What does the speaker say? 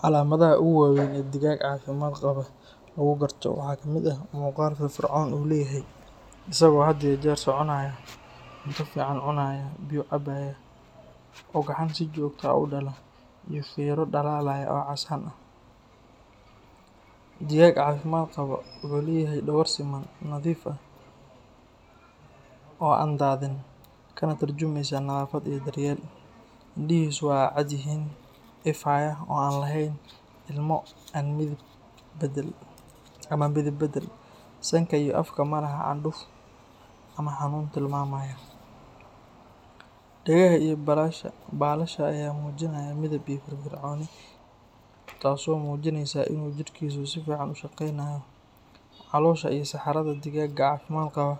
Calaamadaha ugu waaweyn ee digaag caafimaad qaba lagu garto waxaa ka mid ah muuqaal firfircoon oo uu leeyahay, isagoo had iyo jeer soconaya, cunto fiican cunaya, biyo cabaya, ugxan si joogto ah u dhala, iyo feero dhalaalaya oo casaan ah. Digaag caafimaad qaba wuxuu leeyahay dhogor siman, nadiif ah, oo aan daadin, kana turjumaysa nadaafad iyo daryeel. Indhihiisu waa cad yihiin, ifaya, oo aan lahayn ilmo ama midab beddel. Sanka iyo afka ma laha candhuuf ama xanuun tilmaamaya. Dhegaha iyo baalasha ayaa muujinaya midab iyo firfircooni, taasoo muujinaysa inuu jidhkiisu si fiican u shaqaynayo. Caloosha iyo saxarada digaaga caafimaad qaba